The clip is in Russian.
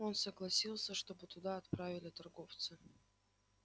он согласился чтобы туда отправили торговца